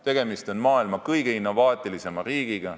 Tegemist on maailma kõige innovaatilisema riigiga.